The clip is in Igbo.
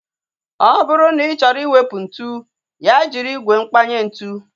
Ọ bụrụ na ị chọrọ iwepu ntụ, ya jiri ígwè mkpanye ntu